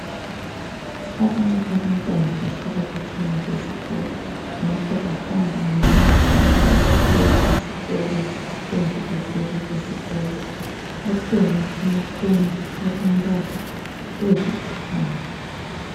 Abanye abantwana bahlala khatshana lesikolo ngakho bahamba ngemota nxa besiya esikolo kumbe bevela esikolo akhona amakhombi alombala olithanga.